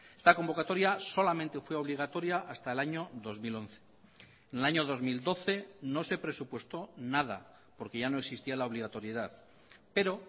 esta convocatoria solamente fue obligatoria hasta el año dos mil once en el año dos mil doce no se presupuestó nada porque ya no existía la obligatoriedad pero